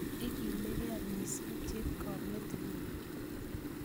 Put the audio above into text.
ikiligee mising chepkomet nyum